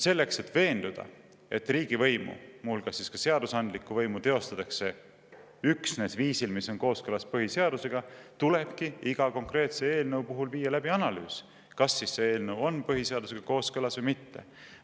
Selleks, et veenduda, et riigivõimu, muu hulgas ka seadusandlikku võimu teostatakse üksnes viisil, mis on kooskõlas põhiseadusega, tulebki iga konkreetse eelnõu puhul viia läbi analüüs, kas eelnõu on põhiseadusega kooskõlas või mitte.